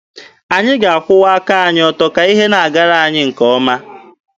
Anyị ga-akwụwa aka anyị ọtọ ka ihe na-agara anyị nke ọma.